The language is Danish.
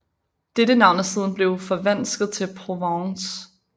Dette navn er siden blevet forvansket til Provence